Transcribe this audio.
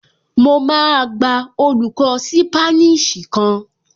Mo máa gba olùkọ́ ṣípánísì kan